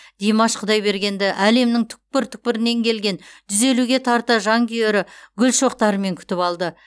димаш құдайбергенді әлемнің түкпір түкпірінен келген жүз елуге тарта жанкүйері гүл шоқтарымен күтіп алды